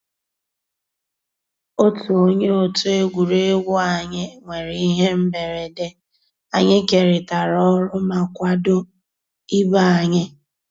Ótú ónyé ótú égwurégwu ànyị́ nwèrè íhé mbérèdé, ànyị́ kérị́tárá ọ́rụ́ má kwàdó ìbé ànyị́.